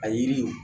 A yiri